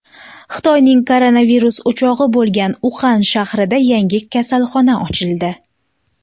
Xitoyning koronavirus o‘chog‘i bo‘lgan Uxan shahrida yangi kasalxona ochildi.